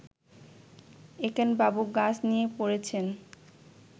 একেনবাবু গাছ নিয়ে পড়েছেন